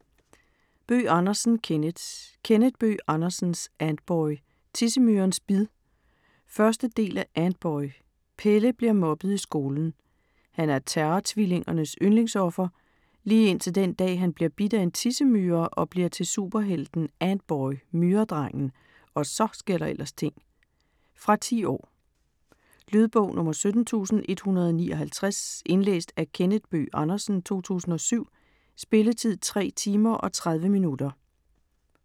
Bøgh Andersen, Kenneth: Kenneth Bøgh Andersens Antboy - Tissemyrens bid 1. del af Antboy. Pelle bliver mobbet i skolen. Han er Terror-Tvillingernes yndlingsoffer, lige indtil den dag, han bliver bidt af en tissemyre - og bliver til superhelten Antboy - Myredrengen. Og så sker der ellers ting! Fra 10 år. Lydbog 17159 Indlæst af Kenneth Bøgh Andersen, 2007. Spilletid: 3 timer, 30 minutter.